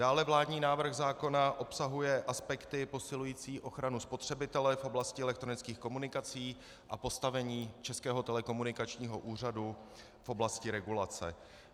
Dále vládní návrh zákona obsahuje aspekty posilující ochranu spotřebitele v oblasti elektronických komunikací a postavení Českého telekomunikačního úřadu v oblasti regulace.